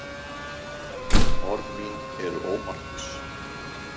Orð mín eru ómarkviss.